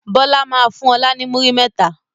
Bọlá máa fún ọ̀la ni múrí mẹ́ta.